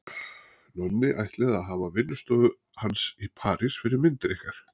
Nonni ætlið að hafa vinnustofu hans í París fyrir myndir ykkar.